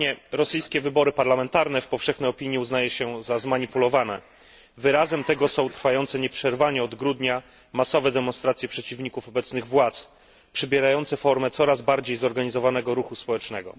Ostatnie rosyjskie wybory parlamentarne w powszechnej opinii uznaje się za zmanipulowane. Wyrazem tego są trwające nieprzerwanie od grudnia masowe demonstracje przeciwników obecnych władz, przybierające formę coraz bardziej zorganizowanego ruchu społecznego.